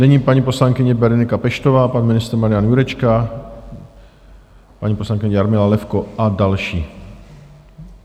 Nyní paní poslankyně Berenika Peštová, pan ministr Marian Jurečka, paní poslankyně Jarmila Levko a další.